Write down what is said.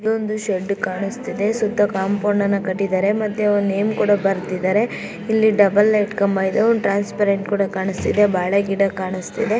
ಇಲ್ಲೊಂದು ಶೆಡ್ ಕಾಣಿಸ್ತಿದೆ ಸುತ್ತ ಕಾಂಪೌಂಡ್ ಅನ್ನ ಕಟ್ಟಿದಾರೆ ಮತ್ತೆ ಒಂದ್ ನೇಮ್ ಕೂಡ ಬರ್ದಿದ್ದಾರೆ ಇಲ್ಲಿ ಡಬಲ್ ಲೈಟ್ ಕಂಬ ಇದೆ ಒಂದ್ ಟ್ರಾನ್ಸ್ಫರೆಂಟ್ ಕೂಡ ಕಾಣಿಸ್ತಿದೆ ಬಾಳೆ ಗಿಡ ಕಾಣಿಸ್ತಿದೆ.